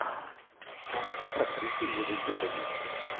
кинчик с актрисой милой йовович